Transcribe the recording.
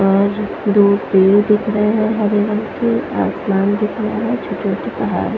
और दो पेड़ दिख रहे है हरे रंग के आसमान दिख रहा है छोटे छोटे पहाड़--